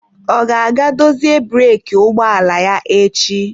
Ọ ga-aga dozie breeki ụgbọ ala echi?